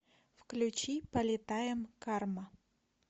включи полетаем карма